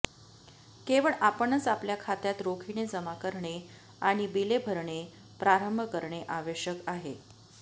केवळ आपणच आपल्या खात्यात रोखीने जमा करणे आणि बिले भरणे प्रारंभ करणे आवश्यक आहे